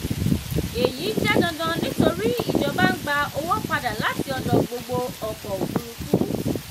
èyí jẹ́ dandan nítorí ìjọba ń gba owó padà láti ọ̀dọ̀ gbogbo ọkọ̀ òfúrufú.